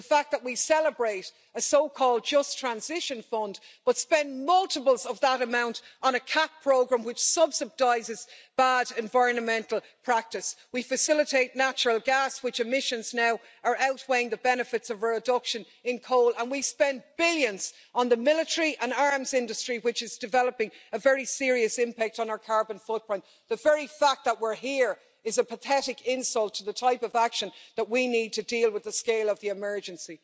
the fact that we celebrate a so-called Just Transition Fund, but spend multiples of that amount on a common agricultural policy programme which subsidises bad environmental practice the fact that we facilitate natural gas, the emissions from which are now outweighing the benefits of reduction in coal, and we spend billions on the military and arms industry, which is developing a very serious impact on our carbon footprint. The very fact that we're here is a pathetic insult to the type of action that we need to deal with the scale of the emergency.